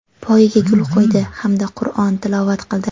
poyiga gul qo‘ydi hamda Qurʼon tilovat qildi.